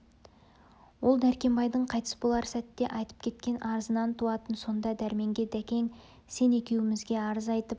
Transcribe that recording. ол дәркембайдың қайтыс болар сәтте айтып кеткен арызынан туатын сонда дәрменге дәкең сен екеумізге арыз айтып